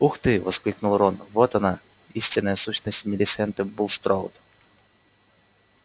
ух ты воскликнул рон вот она истинная сущность милисенты булстроуд